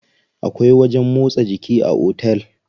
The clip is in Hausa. Akwai wajen motsa jiki a otel.